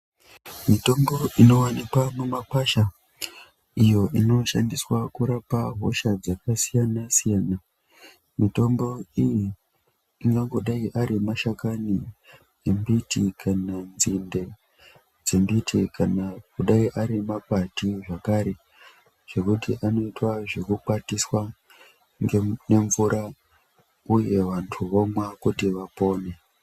Mitombo inowanikwa mumakwasha iyo inoshandiswa kurapa hosha dzakasiyana-siyana, mitombo iyi ingangodai ari mashakani embiti kana nzinde dzembiti kana kudai ari makwati zvakare zvekuti anoitwa zvekukwatiswa nemvura uye vantu vomwa kuti vapone.